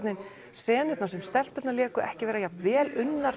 senurnar sem stelpurnar léku ekki vera jafnvel unnar